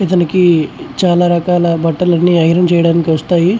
ఇతనికి చాలా రకాల బట్టలన్నీ ఐరన్ చేయడానికి వస్తాయి.